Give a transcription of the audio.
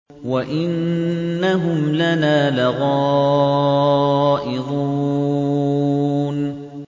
وَإِنَّهُمْ لَنَا لَغَائِظُونَ